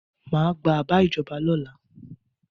Má gba àbá ìjọba lọ́la.